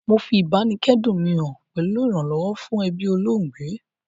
Mo fi ìbáníkẹ́dùn mi han pẹ̀lu ìrànlọ́wọ́ fún ebí olóògbé